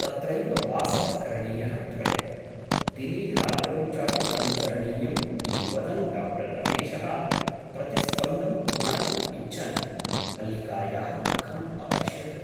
तत्रैव वासः करणीयः त्वया । दिने रात्रौ चापि अनुचरणीयम् '' इति वदन् डा रमेशः प्रतिस्पन्दं ज्ञातुम् इच्छन् मल्लिकायाः मुखम् अपश्यत् ।